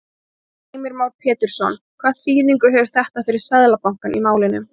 Heimir Már Pétursson: Hvaða þýðingu hefur þetta fyrir Seðlabankann í málinu?